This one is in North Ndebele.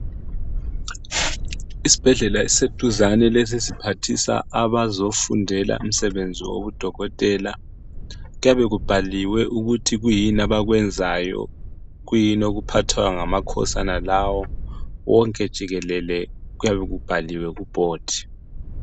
Isibhedlela esiseduzane lesi siphathisa abazofundela umsebenzi wobudokotela kuyabe kubhaliwe ukuthi kuyini abakwenzayo kuyini okuphathwa ngamakhosi wonalawo wonke jikelele, kuyabe kubhaliwe kubhodi.